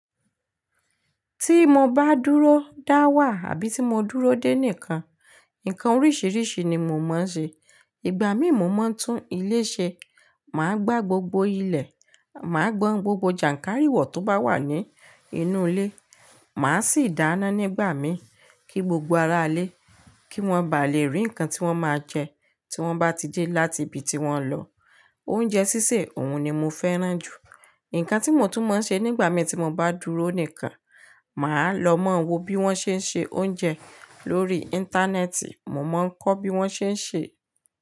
Tí mo bá dúró dáwà àbí tí mo dúró dè nìkan, ǹkan oríṣìíríṣìí ni mò ń mọ̀ ṣe. Ìgbà mí mo máa ń tún ilé ṣe, màá gba gbogbo ilẹ̀, màá gbọn gbogbo jànkárìwọ̀ tó bá wà ní inú ilé, màá sì dáná nígbà mí kí gbogbo ará ilé, kí wọ́n ba lè rí ǹkan tí wọ́n máa jẹ tí wọ́n bá tidé láti ibi tí wọ́n lọ. Oúnjẹ sísè òun ni mo fẹ́ràn jù. Ǹkan tí mo tún mọ̀ ń ṣe nígbà mí tí mo bá dúró nìkan, màá lọ máa wo bí wọ́n ṣe ń ṣe oúnjẹ lórí Íńtánẹ́ẹ̀tì, mo máa ń kọ́ bí wọ́n ṣe ń ṣe.